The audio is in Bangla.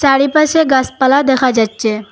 চারিপাশে গাছপালা দেখা যাচ্ছে।